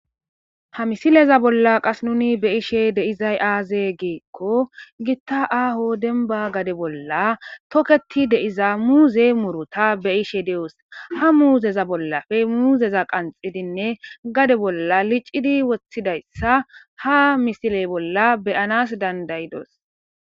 Ha misileza bolla qas nuni be ishe deizay aaze geekko gitta aaho denba gade bolla toketi deiza muuze murota be ishe de'os ha muuzeza bollafe muuzeza qanxidinne gade bolla licidi woththidayssa ha misiley bolla beyanas dandayidos.